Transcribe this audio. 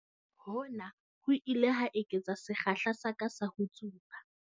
Hona ho ile ha eketsa sekgahla sa ka sa ho tsuba.